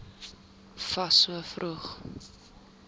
fas so vroeg